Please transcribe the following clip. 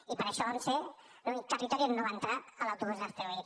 i per això vam ser l’únic territori on no va entrar l’autobús d’hazte oír